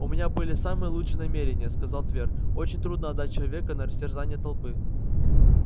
у меня были самые лучшие намерения сказал твер очень трудно отдать человека на растерзание толпы